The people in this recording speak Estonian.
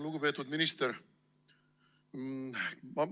Lugupeetud minister!